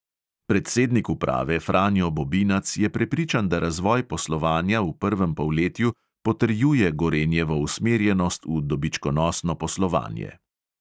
Predsednik uprave franjo bobinac je prepričan, da razvoj poslovanja v prvem polletju potrjuje gorenjevo usmerjenost v dobičkonosno poslovanje.